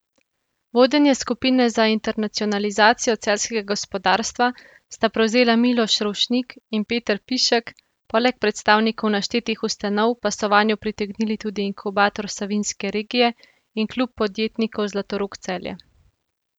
Vodenje skupine za internacionalizacijo celjskega gospodarstva sta prevzela Miloš Rovšnik in Peter Pišek, poleg predstavnikov naštetih ustanov pa so vanjo pritegnili tudi Inkubator Savinjske regije in Klub podjetnikov Zlatorog Celje.